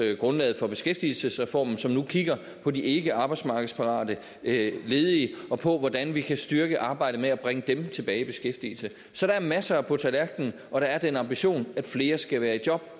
grundlaget for beskæftigelsesreformen som nu kigger på de ikkearbejdsmarkedsparate ledige og på hvordan vi kan styrke arbejdet med at bringe dem tilbage i beskæftigelse så der er masser af tiltag på tallerken og der er den ambition at flere skal være i job